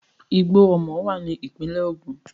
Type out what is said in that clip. Igbó Omo wà ní ìpínlẹ̀ Ògùn.